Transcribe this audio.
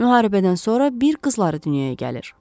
Müharibədən sonra bir qızları dünyaya gəlir.